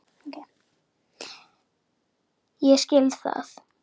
Ég skil það.